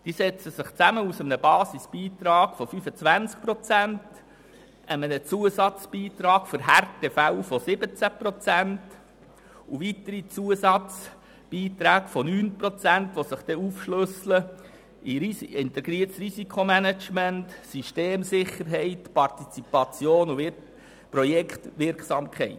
Diese setzen sich zusammen aus einem Basisbeitrag von 25 Prozent, einem Zusatzbeitrag für Härtefälle von 17 Prozent und weiteren Zusatzbeiträgen von 9 Prozent, die sich aufschlüsseln in integriertes Risikomanagement, Systemsicherheit, Partizipation und Projektwirksamkeit.